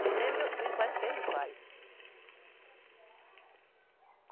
Que nem meus filhos, faz o que ele faz.